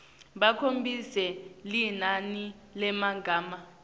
bakhombise linani lemagama